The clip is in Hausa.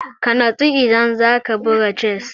Ka natsu idan za ka buga chess!